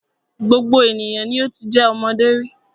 Gbogbo ènìyàn ni o ti jẹ́ ọmọdé rí.